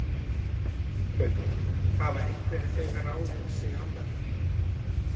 Hrund: Hafa einhverjir þegar ráðið sig annað?